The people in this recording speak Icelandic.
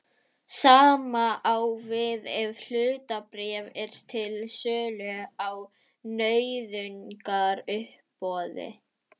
Sama á við ef hlutabréf eru til sölu á nauðungaruppboði.